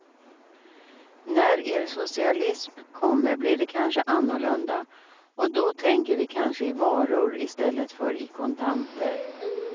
När er socialism kommer blir det kanske annorlunda, och då tänker vi kanske i varor i stället för i kontanter.